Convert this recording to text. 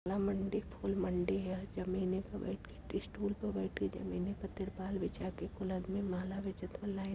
यह मंडी फूल मंडी है जमीन में बेठ के एक स्टूले पे बैठ के जमीने पर त्रिपाल बिछा के फूल आदमी माला बेचत और लाइन --